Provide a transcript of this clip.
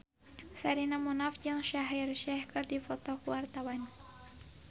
Sherina Munaf jeung Shaheer Sheikh keur dipoto ku wartawan